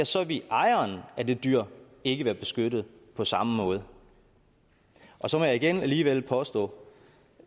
så vil ejeren af det dyr ikke være beskyttet på samme måde så må jeg igen alligevel påstå